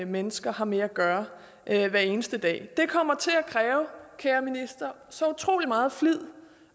mennesker har med at gøre hver eneste dag det kommer til at kræve kære minister så utrolig meget flid